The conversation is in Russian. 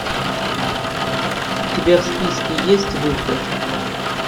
у тебя в списке есть выход